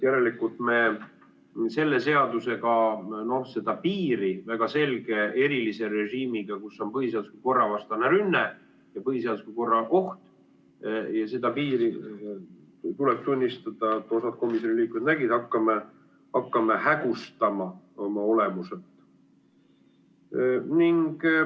Järelikult me selle seadusega seda piiri väga selge erilise režiimiga, kus on põhiseadusliku korra vastane rünne ja põhiseadusliku korra oht, tuleb tunnistada, et mõned komisjoni liikmed nägid, me hakkame hägustama oma olemuselt.